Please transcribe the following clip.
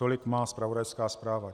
Tolik má zpravodajská zpráva.